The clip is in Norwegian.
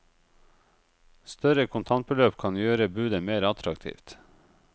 Større kontantbeløp kan gjøre budet mer attraktivt.